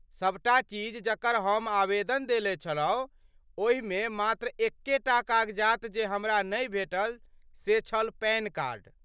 सभटा चीज जकर हम आवेदन देने छलहुँ ओहिमे मात्र एकेटा कागजात जे हमरा नहि भेटल से छल पैन कार्ड।